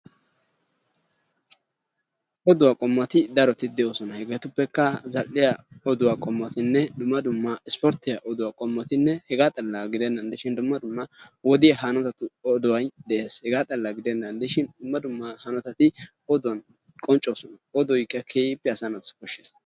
Oduwa qommoti daroti de7oosona. Hegeetuppekka zall7iya oduwa qommotinne dumma dumma ispporttiya oduwa qommotinne hegaa xalla gidennan de7ishin dumma dumma wodiya hanotatu odoyi de7es hegaa xalla gidennan de7ishin dumma dumma hanotati oduwan qonccoosona. Odoyikka keehippe asaa naatussi koshshees.